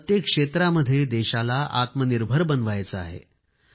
प्रत्येक क्षेत्रामध्ये देशाला आत्मनिर्भर बनवायचे आहे